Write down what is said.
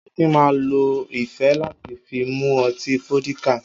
Akin máa ń lo ife láti fi mu ọtí fódíkà.